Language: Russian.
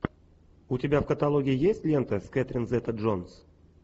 у тебя в каталоге есть лента с кетрин зета джонс